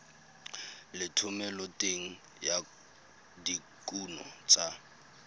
le thomeloteng ya dikuno tsa